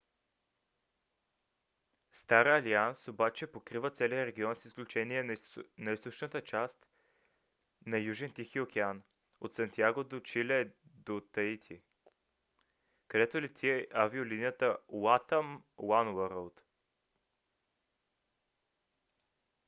star alliance обаче покрива целия район с изключение на източната част на южен тихи океан - от сантяго де чиле до таити където лети авиолинията latam oneworld